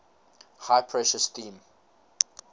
high pressure steam